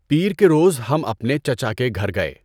پیر کے روز ہم اپنے چچا کے گھر گئے